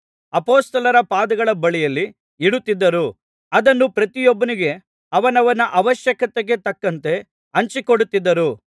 ಅಪೊಸ್ತಲರ ಪಾದಗಳ ಬಳಿಯಲ್ಲಿ ಇಡುತ್ತಿದ್ದರು ಅದನ್ನು ಪ್ರತಿಯೊಬ್ಬನಿಗೆ ಅವನವನ ಅವಶ್ಯಕತೆಗೆ ತಕ್ಕಂತೆ ಹಂಚಿ ಕೊಡುತ್ತಿದ್ದರು